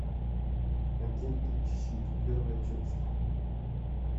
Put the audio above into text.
агенты щит первая часть